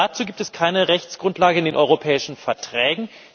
Dazu gibt es keine Rechtsgrundlage in den Europäischen Verträgen.